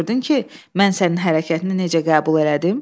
Gördün ki, mən sənin hərəkətini necə qəbul elədim?